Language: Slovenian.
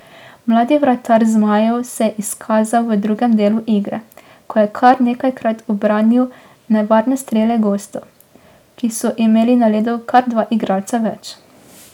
Mladi vratar zmajev se je izkazal v drugem delu igre, ko je kar nekajkrat obranil nevarne strele gostov, ki so imeli na ledu kar dva igralca več.